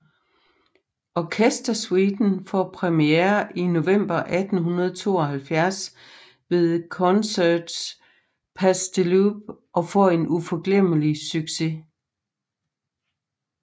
Orkestersuiten får premiere i november 1872 ved Concerts Pasdeloup og får en uforglemmelig succes